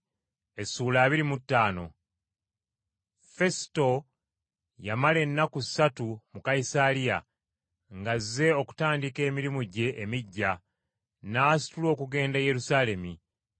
Fesuto yamala ennaku ssatu mu Kayisaliya ng’azze okutandika emirimu gye emiggya, n’asitula okugenda e Yerusaalemi.